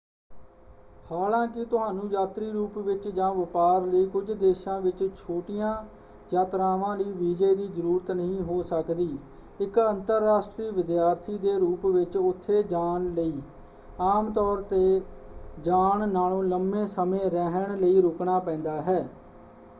ਹਾਲਾਂਕਿ ਤੁਹਾਨੂੰ ਯਾਤਰੀ ਰੂਪ ਵਿੱਚ ਜਾਂ ਵਪਾਰ ਲਈ ਕੁੱਝ ਦੇਸ਼ਾਂ ਵਿੱਚ ਛੋਟੀਆਂ ਯਾਤਰਾਵਾਂ ਲਈ ਵੀਜ਼ੇ ਦੀ ਜ਼ਰੂਰਤ ਨਹੀਂ ਹੋ ਸਕਦੀ ਇੱਕ ਅੰਤਰਰਾਸ਼ਟਰੀ ਵਿਦਿਆਰਥੀ ਦੇ ਰੂਪ ਵਿੱਚ ਉੱਥੇ ਜਾਣ ਲਈ ਆਮ ਤੌਰ 'ਤੇ ਜਾਣ ਨਾਲੋਂ ਲੰਬੇ ਸਮੇਂ ਰਹਿਣ ਲਈ ਰੁਕਣਾ ਪੈਂਦਾ ਹੈ।